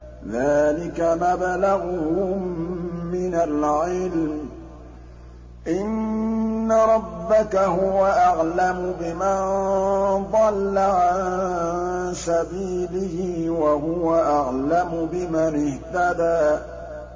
ذَٰلِكَ مَبْلَغُهُم مِّنَ الْعِلْمِ ۚ إِنَّ رَبَّكَ هُوَ أَعْلَمُ بِمَن ضَلَّ عَن سَبِيلِهِ وَهُوَ أَعْلَمُ بِمَنِ اهْتَدَىٰ